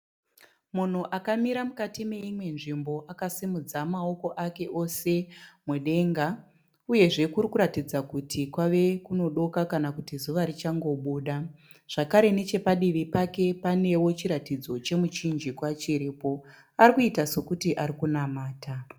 Munhu akamira mukati meimwe nzvimbo akasimudza maoko ake ose mudenga, uyezve kuri kuratidza kuti kwave kunodoka kana kuti zuva richangobuda. Zvakare neche padivi pake panewo chiratidzo chemuchinjikwa chiripo. Arikuita sekuti arikunamata.